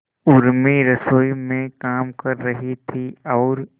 उर्मी रसोई में काम कर रही थी और